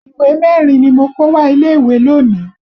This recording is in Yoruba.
Ìwé mẹ́rin ni mo kó wá ilé ìwé lónìí